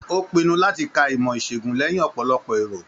O pinnu láti kà ìmọ isegun lẹyìn ọpọlọpọ èrò.